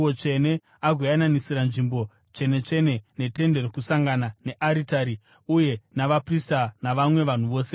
agoyananisira Nzvimbo Tsvene-tsvene neTende Rokusangana, nearitari uye navaprista navamwe vanhu vose veungano.